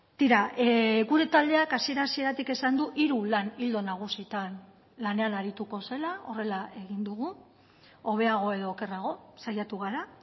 tira gure taldeak hasiera hasieratik esan du hiru lan ildo nagusitan lanean arituko zela horrela egin dugu hobeago edo okerrago saiatu gara